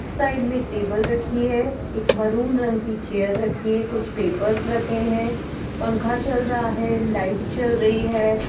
Side मे table रखी है। एक मरून रंग की चेयर रखी है। कुछ पेपर्स रखे हैं। पंखा चल रहा है। लाइट चल रही है।